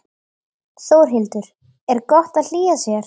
Þórhildur: Er gott að hlýja sér?